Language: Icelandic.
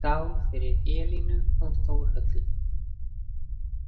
Skál fyrir Elínu og Þórhöllu.